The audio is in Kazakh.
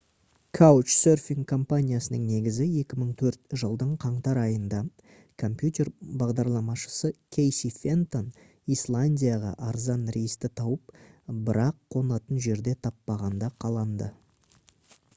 couchsurfing компаниясының негізі 2004 жылдың қаңтар айында компьютер бағдарламашысы кейси фентон исландияға арзан рейсті тауып бірақ қонатын жерде таппағанда қаланды